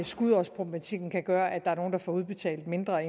skudårsproblematikken kan gøre at der er nogle der får udbetalt mindre